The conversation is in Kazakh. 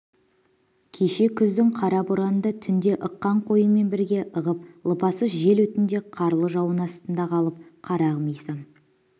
кеше күздің қара боранында түнде ыққан қойыңмен бірге ығып лыпасыз жел өтінде қарлы жауын астында қалып қарағым исам